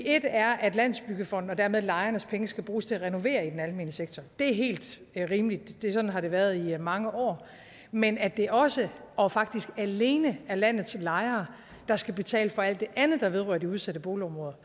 et er at landsbyggefondens og dermed lejernes penge skal bruges til at renovere i den almene sektor det er helt rimeligt sådan har det været i mange år men at det også og faktisk alene er landets lejere der skal betale for alt det andet der vedrører de udsatte boligområder